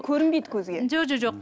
көрінбейді көзге жоқ